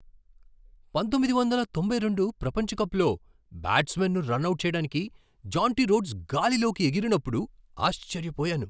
పంతొమ్మిది వందల తొంభై రెండు ప్రపంచ కప్లో బ్యాట్స్మాన్ను రనౌట్ చేయడానికి జాంటీ రోడ్స్ గాలిలోకి ఎగిరినప్పుడు ఆశ్చర్యపోయాను.